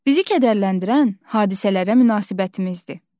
Bizi kədərləndirən hadisələrə münasibətimizdir.